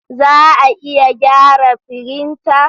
Za a iya gyara firinta?